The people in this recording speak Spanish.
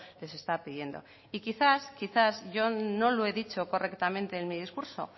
les está pidiendo y quizás yo no lo he dicho correctamente en mi discurso